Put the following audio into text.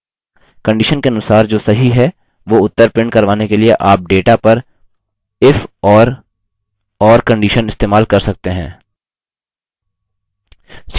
condition के अनुसार जो सही है वो उत्तर प्रिंट करवाने के लिए आप डेटा पर if और or कंडिशन इस्तेमाल कर सकते हैं